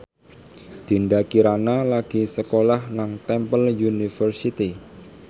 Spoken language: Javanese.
Dinda Kirana lagi sekolah nang Temple University